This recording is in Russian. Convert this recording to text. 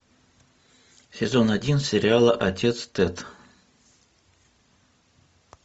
сезон один сериала отец тед